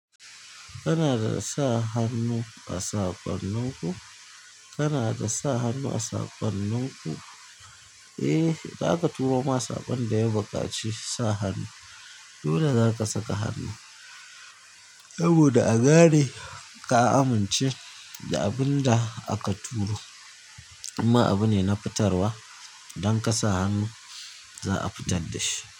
Kana da sa hannu a saƙonninku? Kana da sa hannu a saƙonninku? Eh, za ka turo ma saƙon da ya baƙaci sa hannu. Dole za ka saka hannu saboda a gane ka amince da abin da aka turo. Amma abu ne na fitarwa don ka sa hannu za a fitar da shi.